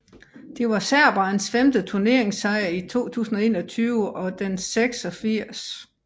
Det var serberens femte turneringssejr i 2021 og den 86